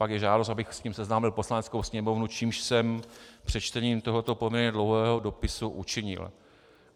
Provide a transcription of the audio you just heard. Pak je žádost, abych s tím seznámil Poslaneckou sněmovnu, což jsem přečtením tohoto poměrně dlouhého dopisu učinil.